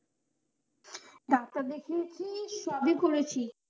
Doctor দেখিয়েছি, সবই করেছি।